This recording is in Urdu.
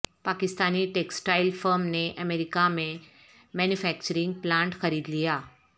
پاکستانی ٹیکسٹائل فرم نے امریکہ میں مینو فیکچرنگ پلانٹ خرید لیا